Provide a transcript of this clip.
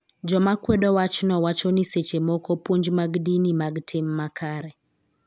Joma kwedo wachno wacho ni seche moko puonj mag dini mag tim makare .